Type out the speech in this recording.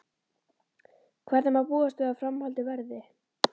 En hvernig má búast við að framhaldið verði?